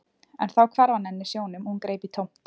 En þá hvarf hann henni sjónum og hún greip í tómt.